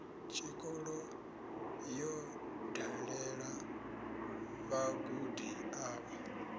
tshikolo yo dalela vhagudi avho